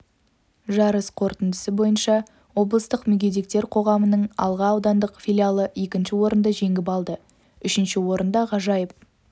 жарыс қорытындысы бойынша облыстық мүгедектер қоғамының алға аудандық филиалы екінші орынды жеңіп алды үшінші орында ғажайып